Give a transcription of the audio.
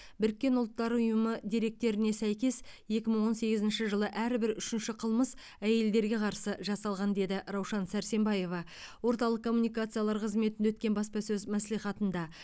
біріккен ұлттар ұйымы деректеріне сәйкес екі мың он сегізінші жылы әрбір үшінші қылмыс әйелдерге қарсы жасалған деді раушан сәрсембаева орталық коммуникациялар қызметінде өткен баспасөз мәслихатында